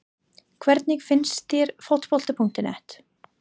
Hvernig finnst þér Fótbolti.net?